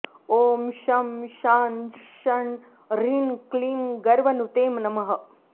ॐ शं शां षं ह्रीं क्लीं गर्वनुते नमः